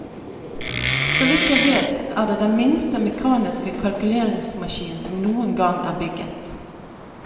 Så vidt jeg vet er det den minste mekaniske kalkuleringsmaskin som noen gang er bygget.